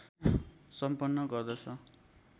सम्पन्न गर्दछन्